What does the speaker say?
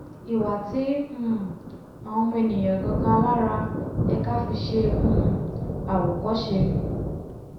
ìwà tí um àwa ọmọ ènìà gan-an alára yẹ ká fi ṣe um àwòkọ́ṣe